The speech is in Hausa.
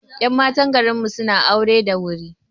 Ƴan matan garinmu suna aure da wuri